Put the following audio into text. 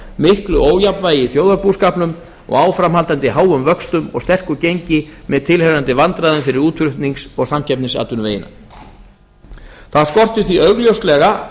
miklu ójafnvægi í þjóðarbúskapnum og áframhaldandi háum vöxtum og sterku gengi með tilheyrandi vandræðum fyrir útflutnings og samkeppnisatvinnuvegina það skortir því augljóslega